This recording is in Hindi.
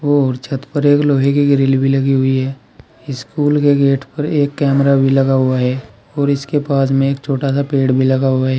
और छत पर एक लोहे की ग्रिल भी लगी हुई है स्कूल के गेट पर एक कैमरा भी लगा हुआ है और इसके पास में एक छोटा सा पेड़ भी लगा हुआ है।